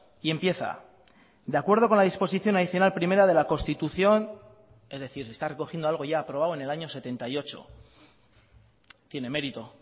y empieza de acuerdo con la disposición adicional primera de la constitución es decir está recogiendo algo ya aprobado en el año setenta y ocho tiene mérito